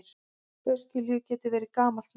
Öskjuhlíð getur verið gamalt nafn.